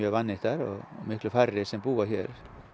vannýttar og miklu færri sem að búa hér